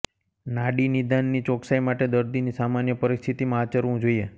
નાડી નિદાનની ચોક્સાઈ માટે દર્દીની સામાન્ય પરિસ્થિતિમાં આચરવું જોઈએ